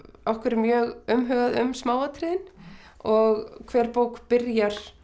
okkur er mjög umhugað um smáatriðin og hver bók byrjar